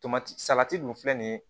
Tomati salati dun filɛ nin ye